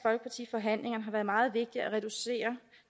forhandlingerne har været meget vigtigt at reducere